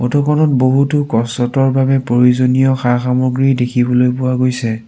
Photo খনত বহুতো বাবে প্ৰয়োজনীয় সা-সামগ্ৰী দেখিবলৈ পোৱা গৈছে।